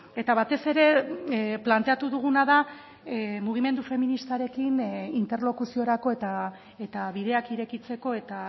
eta batez ere planteatu duguna da mugimendu feministarekin interlokuziorako eta bideak irekitzeko eta